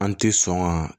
An ti sɔn ka